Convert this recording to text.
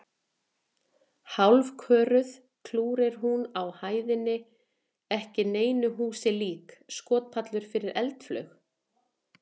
Hálfköruð klúkir hún á hæðinni ekki neinu húsi lík: skotpallur fyrir eldflaug?